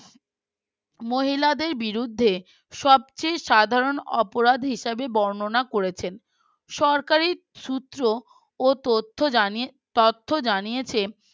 মহিলাদের বিরুদ্ধে সবচেয়ে সাধারণ অপরাধ হিসেবে বর্ণনা করেছেন সরকারের সূত্র ও তথ্য জানে তথ্য জানিয়েছেন